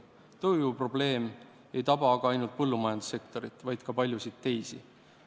Tööjõuprobleem ei taba aga mitte ainult põllumajandussektorit, vaid ka paljusid teisi.